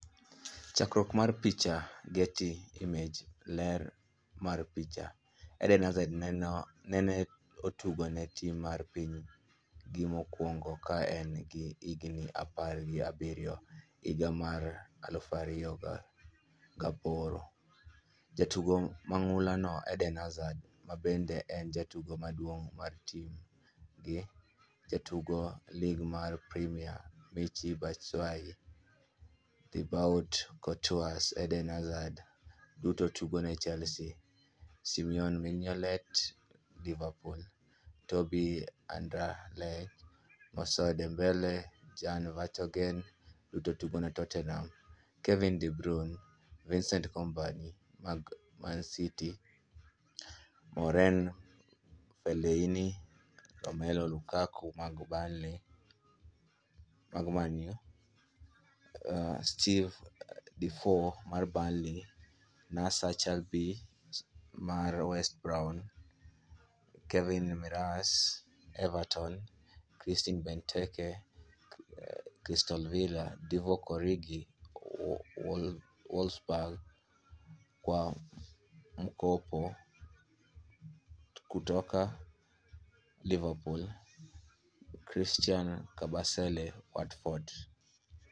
Chakruok mar picha, Getty Images, ler mar picha: Eden Hazard nene otugo ne tim mar piny gi mokuongo ka en gi higni apar gi abiriyo higa mar 2008. Jatugo mang'ula no: Eden Hazard mabende en jatugo maduong' mar tim gi. Jotug lig mar Premia: Michy Batshuayi, Thibaut Courtois, Eden Hazard (duto tugo ne Chelsea), Simon Mignolet (Liverpool), Toby Alderweireld, Moussa Dembele, Jan Vertonghen, (duto tugo ne Tottenham), Kevin de Bruyne, Vincent Kompany (mag Manchester City), Marouane Fellaini, Romelu Lukaku (mag Manchester United), Steven Defour (Burnley), Nacer Chadli (West Brom), Kevin Mirallas (Everton), Christian Benteke (Crystal Palace), Divock Origi (Wolfsburg, kwa mkopo kutoka Liverpool), Christian Kabasele (Watford).